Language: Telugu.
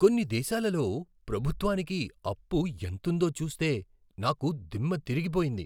కొన్ని దేశాలలో ప్రభుత్వానికి అప్పు ఎంతుందో చూస్తే నాకు దిమ్మ దిరిగిపోయింది!